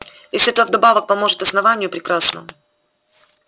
если это вдобавок поможет основанию прекрасно